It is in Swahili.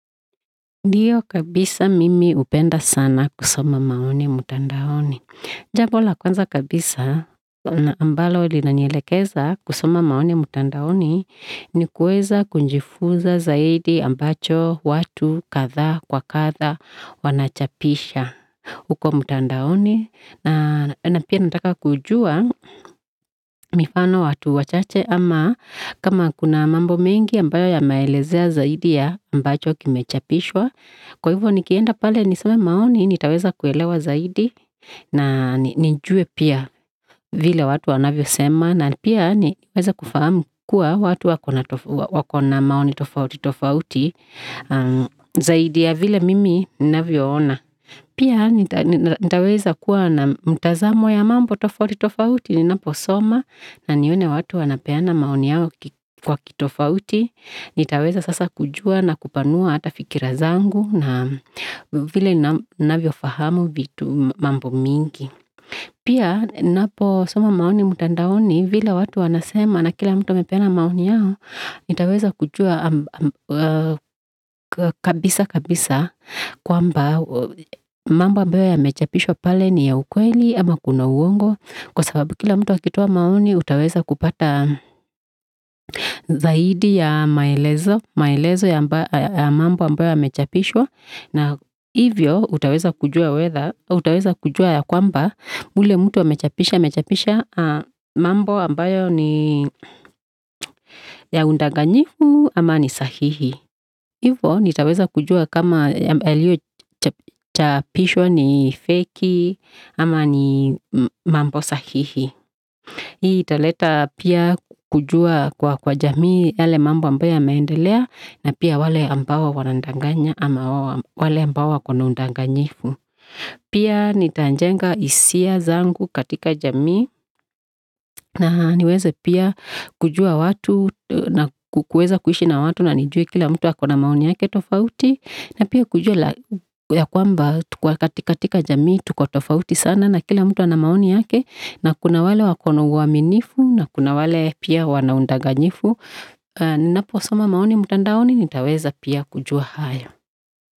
Dio kabisa mimi upenda sana kusoma maoni mtandaoni. Jambo la kwanza kabisa, ambalo ili nanyelekeza kusoma maoni mutandaoni ni kuweza kunjifuza zaidi ambacho watu katha kwa katha wanachapisha ukwa mutandaoni. Na pia nantaka kujua mifano watu wachache kama kuna mambo mingi ambayo ya maelezea zaidi ya ambacho kimechapishwa kwevo nikienda pale nisame maoni ni taweza kuyelawa zaidi na nijue pia vile watu wana vyo sema na pia ni weza kufa mkua watu wakona maoni tofauti tofauti zaidi ya vile mimi na vyo ona pia ni taweza kwa na mtazamo ya mambo tofauti tofauti ninaposoma na niwene watu wana peana maoni yao kwa kitofauti ni taweza sasa kujua na kupanua ata fikira zangu na vile na vyo fahamu mambo mingi. Pia niposoma maoni mutandaoni vila watu wana sema na kila mtumepena maoni yao ni taweza kujua kabisa kabisa kwamba mba bwe ya mechapishwa pale ni ya ukweli ama kuna uongo kwa sababu kila mtua kituwa maoni utaweza kupata zaidi ya maelezo ya mambo ambayo ya mechapishwa na ivi yo utaweza kujua ya kumbaa wile mtua mechapisha mambo ambayo ni ya undaganyifu ama ni sahihi ivo ni taweza kujua kama ya chapishwa ni feiki ama ni mambo sahihi hii italeta pia kujua kwa jamii yale mambo ambayo ya maendelea na pia wale ambawa wana undaganya ama wale ambawa kuna undaganyifu pia nitanjenga isia zangu katika jamii na niweze pia kujua watu na kuweza kuhishi na watu na nijuwe kila mtua kuna maoni ya ketofauti na pia kujua ya kumbaa tukwa katika jamii tukotofauti sana na kila mtua na maoni ya ke na kuna wale wakonowami nifu na kuna wale pia wanaundaganyifu nina posoma maoni mutandaoni ni taweza pia kujua haya.